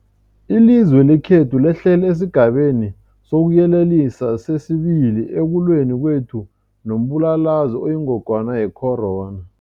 Ilizwe lekhethu lehlele esiGabeni sokuYelelisa sesi-2 ekulweni kwethu nombulalazwe oyingogwana ye-corona.